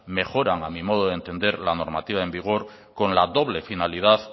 mejora a mi modo de entender la normativa en vigor con la doble finalidad